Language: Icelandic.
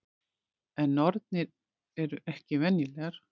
En nornir eru ekki venjulegar.